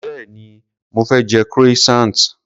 Béèni mo fé je croissant.